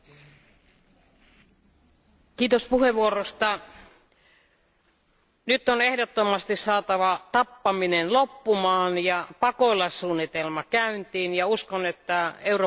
Arvoisa puhemies, nyt on ehdottomasti saatava tappaminen loppumaan ja pakolaissuunnitelma käyntiin ja uskon, että Euroopan unioni tekee tässä parhaansa.